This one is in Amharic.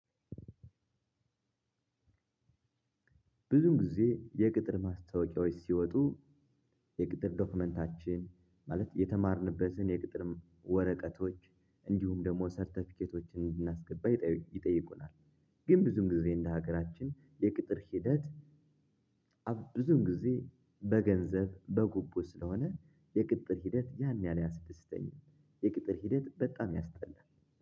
ብዙ ጊዜ የቅጥር ማስታወቂያዎች ሲወጡ የቅጥር ዶክመንታችን ማለት የተማርንበትን የቅጥርም ወረቀቶች እንዲሁም ደግሞ ሰርተፊኬቶችን እንድናስገባ ይጠይቁናል። ግን ብዙም ጊዜ እንደ ሀገራችን የቅጥር ሂደት። ብዙን ጊዜ በገንዘብ በጉቦ ስለሆነ የቅጥር ሂደት ያን ያህል አያስደስተኝም። የቅጥር ሂደት በጣም ያስጠላል